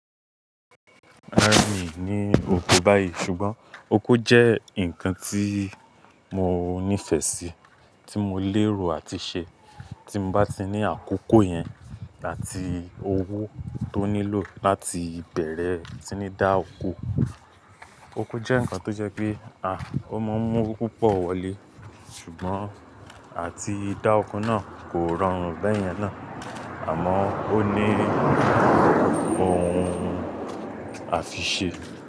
Mi ò ni oko báyìí ṣùgbọ́n oko jẹ́ ǹkan tí mo nífẹ̀ẹ́ sí, tí mo lérò àti ṣe. Tí mo bá ti ní àkókò yẹn àti owó tó nílò láti bẹ̀rẹ̀, tí ní dá oko. Oko jẹ́ ǹkan tó jẹ́ pé a, o máa ń mú owó púpọ̀ wọlé ṣùgbọ́n àti dá oko náà kò rọrùn bẹ́ẹ̀yẹn náà àmọ́ ó ní ohun a fi ṣe.